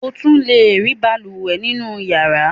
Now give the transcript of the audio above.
O tún le rí balùwẹ̀ nínú ìyàrá.